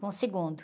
Com o segundo.